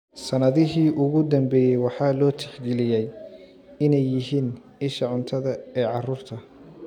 Sannadihii ugu dambeeyay waxaa loo tixgeliyey inay yihiin isha cuntada ee carruurta.